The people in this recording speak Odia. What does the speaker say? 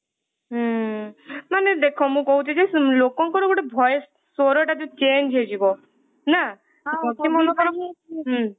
ହୁଁ ମାନେ ଦେଖ ମୁଁ କହୁଛି ଯେ ଲୋକଙ୍କର ଗୋଟେ voice ସ୍ଵରଟା ଯୋଊ change ହେଇଯିବ ନା ସେ ମନେକର ମୁଁ